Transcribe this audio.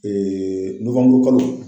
nowanburukalo.